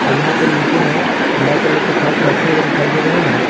और यहां पे नीचे में ब्लैक कलर के फर्श रखे हुए दिखाई दे रहे हैं।